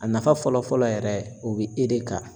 A nafa fɔlɔ-fɔlɔ yɛrɛ o be e de kan.